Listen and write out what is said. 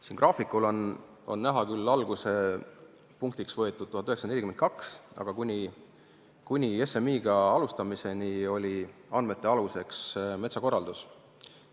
Siin graafikul on alguspunktiks võetud küll 1942, aga kuni SMI-ga alustamiseni oli andmete aluseks metsakorraldus.